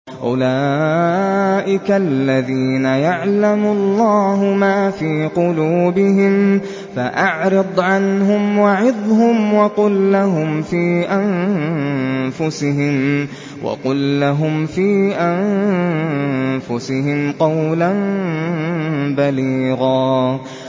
أُولَٰئِكَ الَّذِينَ يَعْلَمُ اللَّهُ مَا فِي قُلُوبِهِمْ فَأَعْرِضْ عَنْهُمْ وَعِظْهُمْ وَقُل لَّهُمْ فِي أَنفُسِهِمْ قَوْلًا بَلِيغًا